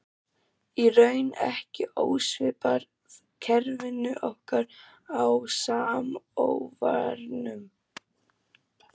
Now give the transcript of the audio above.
Í raun ekki ósvipað kerfinu okkar á Samóvarnum.